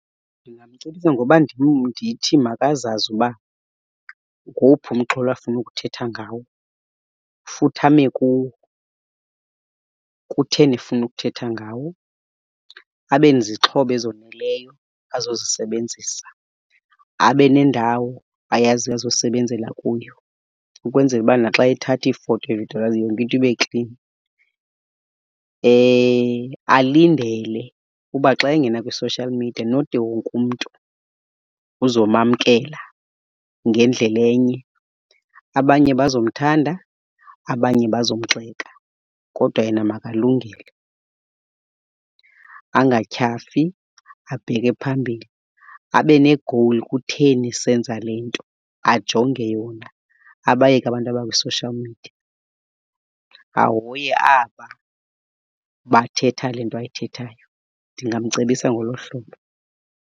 Ndingamcebisa ngoba ndithi makazazi uba ngowuphi umxholo afuna ukuthetha ngawo, futhi ame kuwo. Kutheni efuna ukuthetha ngawo? Abe nezixhobo ezoneleyo azozisebenzisa, abe nendawo ayaziyo azosebenzela kuyo ukwenzela uba naxa ethatha iifoto evidiyorayiza yonke into ibe klini. Alindele uba xa engena kwi-social media not wonke umntu uzomamkela ngendlela enye. Abanye bazomthanda, abanye bazomgxeka, kodwa yena makalungele. Angatyhafi abheke phambili, abe ne-goal. Kutheni esenza le nto? Ajonge yona, abayeke abantu abakwi-social media. Ahoye aba bathetha le nto ayithethayo. Ndingamcebisa ngolo hlobo.